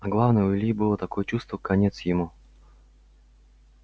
а главное у ильи было такое чувство конец ему